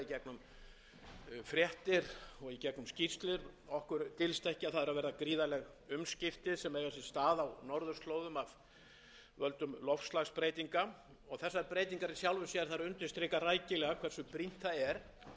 í gegnum skýrslur dylst ekki að það eru að verða gríðarleg umskipti sem eiga sér stað á norðurslóðum af völdum loftslagsbreytinga þessar breytingar í sjálfu sér undirstrika rækilega hversu brýnt það er